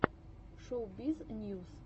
шоубиз ньюс